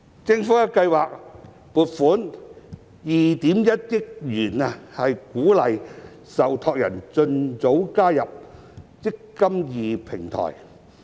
政府計劃撥款2億 1,000 萬元鼓勵受託人盡早加入"積金易"平台。